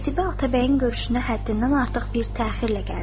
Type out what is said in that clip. Qətibə Atabəyin görüşünə həddindən artıq bir təxirlə gəldi.